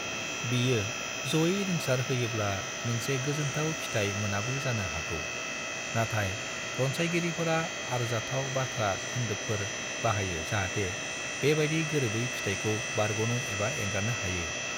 बियो जयै रिंसार होयोब्ला मोनसे गोजोनथाव फिथाय मोनाबो जानो हागौ, नाथाय रनसायगिरिफोरा आरजाथाव बाथ्रा खोनदोबफोर बाहायो जाहाथे बेबादि गोरोबै फिथायखौ बारग'नो एबा एंगारनो हायो।